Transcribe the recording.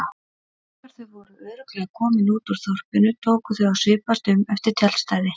Þegar þau voru örugglega komin út úr þorpinu tóku þau að svipast um eftir tjaldstæði.